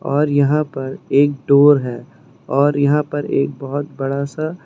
और यहां पर एक डोर है और यहां पर एक बहुत बड़ा सा--